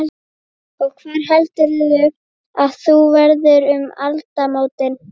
Og hvar heldurðu að þú verðir um aldamótin?